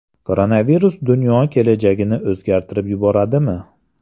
Koronavirus dunyo kelajagini o‘zgartirib yuboradimi?